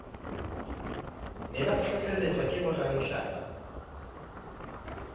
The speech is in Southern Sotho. ne ba hlohlelletswa ke boralehlatsa